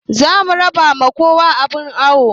Zamu raba ma kowa abun awo